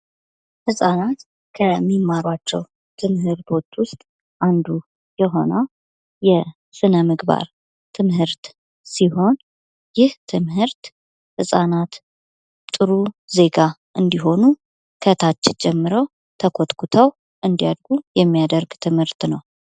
ህፃናት ከሚማሯቸው ትምህርቶች ውስጥ አንዱ የሆነው የስነ ምግባር ትምህርት ሲሆን ይህ ትምህርት ህፃናት ጥሩ ዜጋ እንዲሆኑ ከታች ጀምረው ተኮትኩተው እንዲያድጉ የሚያደርግ ትምህርት ነው።